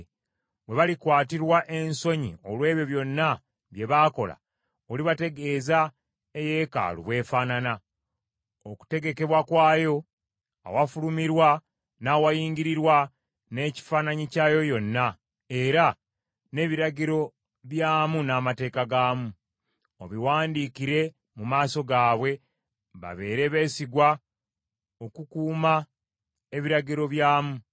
Bwe balikwatirwa ensonyi olw’ebyo byonna bye baakola olibategeeza eyeekaalu bw’efaanana, okutegekebwa kwayo, awafulumirwa n’awayingirirwa, n’ekifaananyi kyayo yonna, era n’ebiragiro byamu n’amateeka gaamu. Obiwandiikire mu maaso gaabwe babeere beesigwa okukuuma ebiragiro byamu.